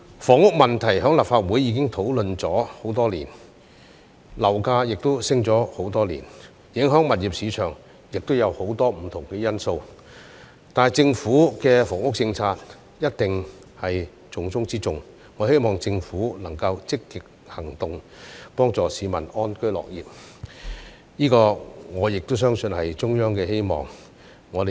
房屋問題在立法會已討論多年，樓價亦已上升多年，影響物業市場亦有很多不同因素，但政府的房屋政策一定是重中之重，我希望政府能夠積極行動，幫市民安居樂業，我亦相信這是中央的希望。